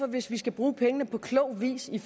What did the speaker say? hvis vi skal bruge pengene på klog vis i